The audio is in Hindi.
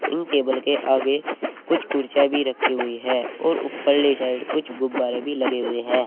इन टेबल के आगे कुछ कुर्सियां भी रखी हुई हैं और ऊपर ले साइड कुछ गुब्बारे भी लगे हुए हैं।